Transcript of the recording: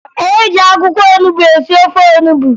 E jị akwụkwọ onubo esi ofe onubo